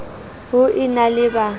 ho e na le ba